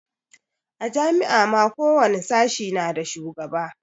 A jami'a ma ko wani sashe na da shugaba